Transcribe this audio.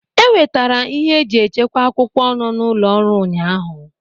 E wetara ịhe e ji echekwa akwụkwọ nọ n'ụlọ ọrụ ụnyaahụ.